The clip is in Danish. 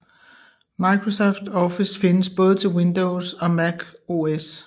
Microsoft Office findes både til Windows og Mac OS